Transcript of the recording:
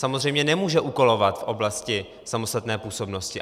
Samozřejmě nemůže úkolovat v oblasti samostatné působnosti.